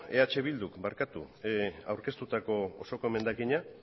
eh bilduk aurkeztutako osoko emendakina